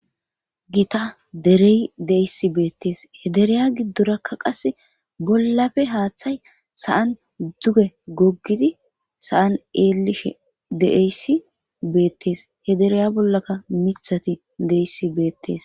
Gita derey deisi beettees he dereya giddorakka qase bollafe haaththay sa'an duge goggidi sa'an eelishe deeyssi beettees he dereya bollaka mithati deissi beettees.